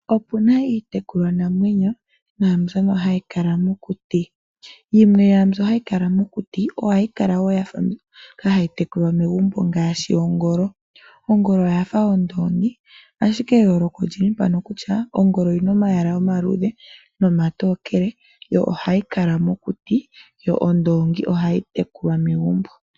Opu na iitekulwanamwenyo naambyono hayi kala mokuti. Yimwe yomwaa mbyono hayi kala mokuti ohayi kala wo ya fa mbyono hayi tekulwa megumbo ngaashi ongolo. Ongolo oya fa ondoongi, ashike eyooloko oli li mpano kutya, ongolo oyi na omayala omaluudhe nomatookele, yo ohayi kala mokuti, yo ondoongi ohayi tekulwa megumbo.